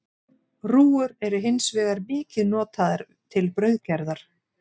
Rúgur eru hins vegar mikið notaðar til brauðgerðar.